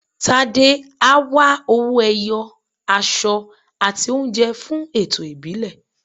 Tádé á wá owó-ẹyọ, aṣọ àti oúnjẹ fún ẹ̀tọ́ ìbílẹ̀.